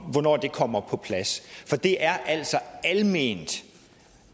kommer på plads for det er altså alment